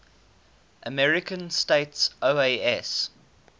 american states oas